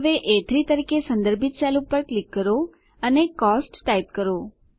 હવે એ3 તરીકે સંદર્ભિત સેલ પર ક્લિક કરો અને કોસ્ટ્સ ટાઈપ કરો